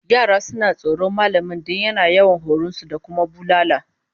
Yara suna tsoron mallamin don yana yawan horon su da kuma bulala